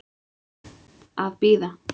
Að bíða.